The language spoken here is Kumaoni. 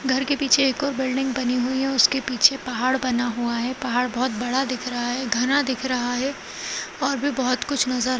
घर के पीछे एक और बिल्डिंग बनी हुई हैं उसके पीछे पहाड़ बना हुआ है पहाड़ बहोत बड़ा दिख रहा है घना दिख रहा है और भी बहोत कुछ नजर --